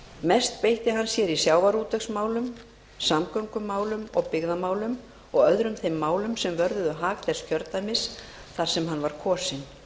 mest beitti hann sér í sjávarútvegsmálum samgöngumálum og byggðamálum og öðrum þeim málum sem vörðuðu hag þess kjördæmis þar sem hann var kosinn